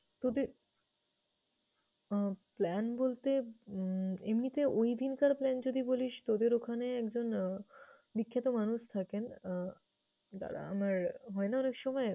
প্রতি~ আহ plan বলতে উম এমনিতে ঐদিনকার plan যদি বলিস। তোদের ওখানে একজন আহ বিখ্যাত মানুষ থাকেন আহ দাঁড়া আমার হয়না অনেকসময়